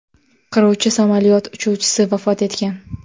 Qiruvchi samolyot uchuvchisi vafot etgan.